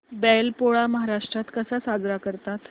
बैल पोळा महाराष्ट्रात कसा साजरा करतात